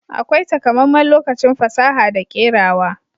Akwai takamaiman lokacin fasaha da kerawa.